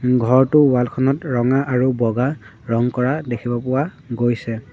ঘৰটোৰ ৱাল খনত ৰঙা আৰু বগা ৰং কৰা দেখিব পোৱা গৈছে।